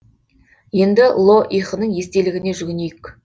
енді ло ихының естелігіне жүгінейік